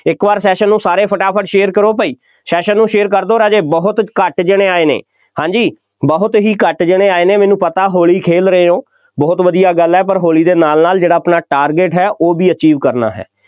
ਇੱਕ ਵਾਰ session ਨੂੰ ਸਾਰੇ ਫਟਾਫਟ share ਕਰੋ ਭਾਈ, session ਨੂੰ share ਕਰ ਦਿਓ ਰਾਜੇ, ਬਹੁਤ ਘੱਟ ਜਣੇ ਆਏ ਨੇ, ਹਾਂਜੀ, ਬਹੁਤ ਹੀ ਘੱਟ ਜਣੇ ਆਏ ਨੇ, ਮੈਨੂੰ ਪਤਾ ਹੋਲੀ ਖੇਲ ਰਹੇ ਹੋ, ਬਹੁਤ ਵਧੀਆ ਗੱਲ ਹੈ, ਪਰ ਹੋਲੀ ਦੇ ਨਾਲ ਨਾਲ ਜਿਹੜਾ ਆਪਣਾ target ਹੈ ਉਹ ਵੀ achieve ਕਰਨਾ ਹੈ।